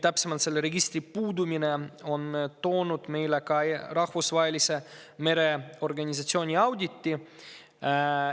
Selle registri puudumine on toonud meile ka Rahvusvahelise Mereorganisatsiooni auditi.